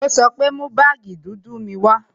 Ó sọ pé "Mú baagi dúdú mi wá"